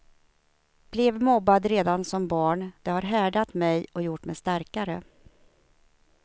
Blev mobbad redan som barn, det har härdat mig och gjort mig starkare.